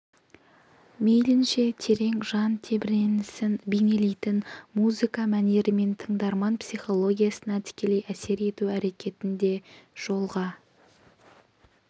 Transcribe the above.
мейлінше терең жан тебіренісін бейнелейтін музыка мәнерімен тыңдарман психологиясына тікелей әсер ету әрекетін де жолға